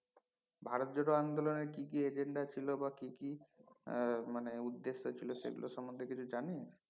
ভারত জোড়ো আন্দোলনের কি কি agenda ছিলো বা কি কি আহ মানে উদ্দেশ্য ছিলো সেগুলো সম্পর্কে কিছু জানিস